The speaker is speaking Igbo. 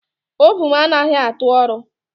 Ovun anaghị atụ ọrụ